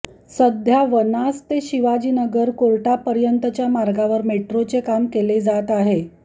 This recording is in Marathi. सध्या वनाझ ते शिवाजीनगर कोर्टापर्यंतच्या मार्गावर मेट्रोचे काम केले जात आहे